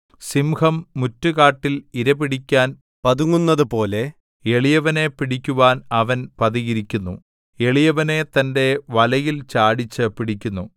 സിംഹം മുറ്റുകാട്ടിൽ ഇര പിടിക്കാൻ പതുങ്ങുന്നതുപോലെ എളിയവനെ പിടിക്കുവാൻ അവൻ പതിയിരിക്കുന്നു എളിയവനെ തന്റെ വലയിൽ ചാടിച്ച് പിടിക്കുന്നു